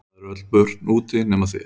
Það eru öll börn úti nema þið.